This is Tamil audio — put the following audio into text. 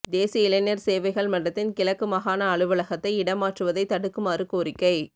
தேசிய இளைஞர் சேவைகள் மன்றத்தின் கிழக்கு மாகாண அலுவலகத்தை இடமாற்றுவதை தடுக்குமாறு கோரிக்கை